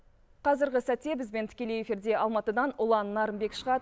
қазіргі сәтте бізбен тікелей эфирде алматыдан ұлан нарынбек шығады